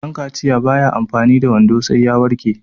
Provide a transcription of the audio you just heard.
dankaciya ba ya amfani da wando sai ya warke